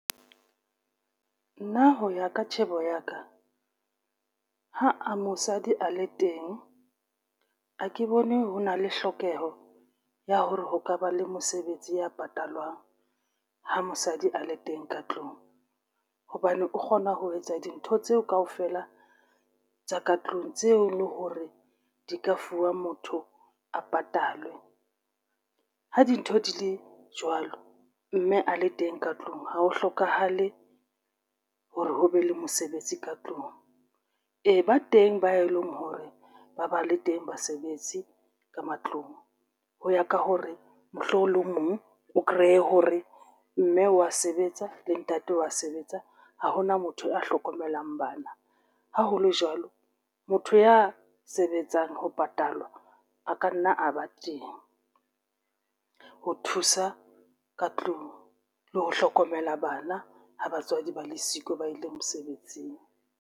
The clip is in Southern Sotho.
Nna ho ya ka tjhebo ya ka ha mosadi a le teng, ha ke bone ho na le hlokeho ya hore ho ka ba le mosebetsi ya patalwang ha mosadi a le teng ka tlung hobane o kgona ho etsa dintho tseo kaofela tsa ka tlung tseo e leng hore di ka fuwa motho a patalwe. Ha dintho di le jwalo mme a le teng ka tlung, ha ho hlokahale hore ho be le mosebetsi ka tlung e ba teng ba e leng hore ba ba le teng basebetsi ka matlong ho ya ka hore mohlomong le o mong o kreye hore mme wa sebetsa le ntate wa sebetsa. Ha hona motho a hlokomelang bana. Ha ho le jwalo, motho ya sebetsang ho patalwa a ka nna a ba teng ho thusa ka tlung le ho hlokomela bana. Ha batswadi ba le siko ba ile mosebetsing.